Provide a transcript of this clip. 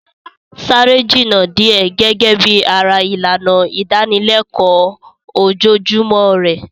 Sáré jìnnà díẹ̀ gẹ́gẹ́ bí ara ìlànà ìdánilẹ́kọ̀ọ́ ojoojúmọ́ rẹ.